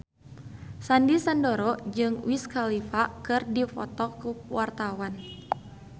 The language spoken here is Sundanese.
Sandy Sandoro jeung Wiz Khalifa keur dipoto ku wartawan